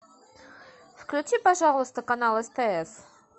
включи пожалуйста канал стс